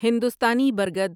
ہندوستانی برگد